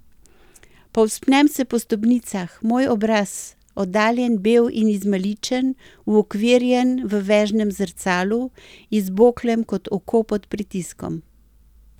Povzpnem se po stopnicah, moj obraz, oddaljen, bel in izmaličen, uokvirjen v vežnem zrcalu, izboklem kot oko pod pritiskom.